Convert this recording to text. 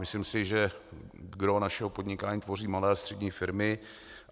Myslím si, že gros našeho podnikání tvoří malé a střední firmy.